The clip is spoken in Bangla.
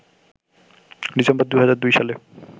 ডিসেম্বর ২০০২ সালে